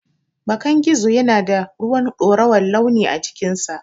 Bakan gizo yana da ruwan dorawar launi a cikinsa.